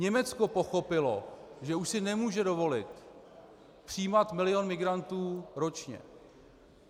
Německo pochopilo, že už si nemůže dovolit přijímat milion migrantů ročně.